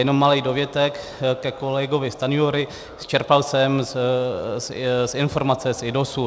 Jenom malý dovětek ke kolegovi Stanjurovi - čerpal jsem z informace z IDOSu.